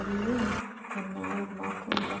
oleng' enaa irmatunda.